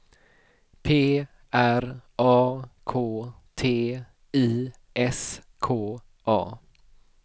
P R A K T I S K A